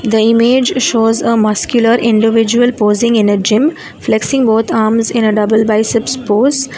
the image shows a muscular individual posing in a gym flexing both arms in a double biceps pose.